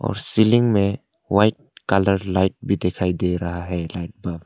और सीलिंग में white colour light भी दिखाई दे रहा है